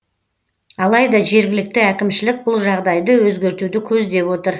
алайда жергілікті әкімшілік бұл жағдайды өзгертуді көздеп отыр